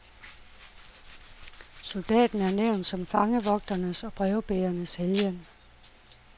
Soldaten er nævnt som fangevogternes og brevbærernes helgen.